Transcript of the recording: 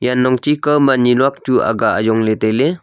janlong chi kau ma nii luak chu aga ajong le taile.